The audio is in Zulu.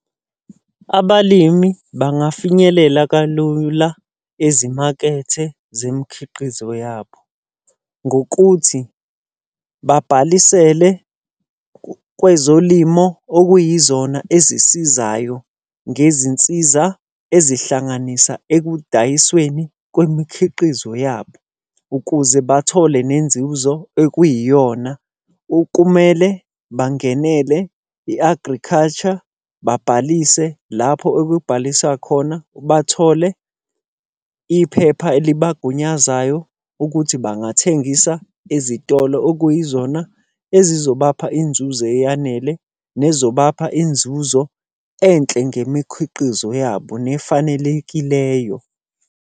Abalimi bangafinyelela kalula ezimakethe zemikhiqizo yabo. Ngokuthi babhalisele kwezolimo okuyizona ezisizayo ngezinsiza ezihlanganisa ekudayisweni kwemikhiqizo yabo, ukuze bathole nenzuzo ekuyiyona. Kumele bangenele i-agriculture, babhalise lapho okubhaliswa khona. Bathole iphepha elibagunyazayo ukuthi bangathengisa ezitolo okuyizona ezizobapha inzuzo eyanele, nezobapha inzuzo enhle ngemikhiqizo yabo nefanelekileyo.